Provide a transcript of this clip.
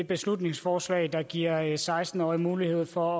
beslutningsforslag der giver seksten årige mulighed for